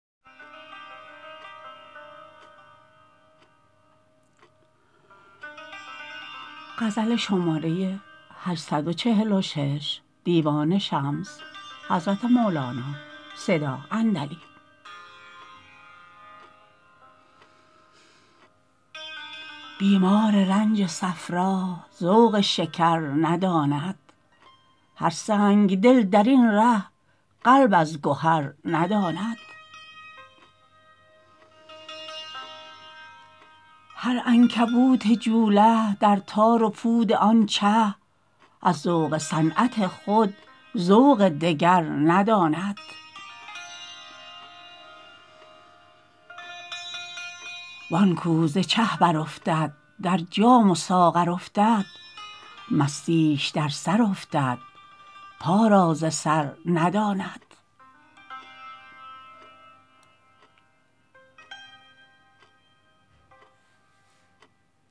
بیمار رنج صفرا ذوق شکر نداند هر سنگ دل در این ره قلب از گهر نداند هر عنکبوت جوله در تار و پود آن چه از ذوق صنعت خود ذوق دگر نداند وان کو ز چه برافتد در جام و ساغر افتد مستیش در سر افتد پا را ز سر نداند